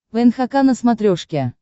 нхк на смотрешке